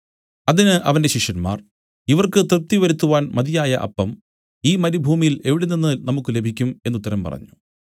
അതിന് അവന്റെ ശിഷ്യന്മാർ ഇവർക്ക് തൃപ്തിവരുത്തുവാൻ മതിയായ അപ്പം ഈ മരുഭൂമിയിൽ എവിടെനിന്ന് നമുക്കു ലഭിക്കും എന്നു ഉത്തരം പറഞ്ഞു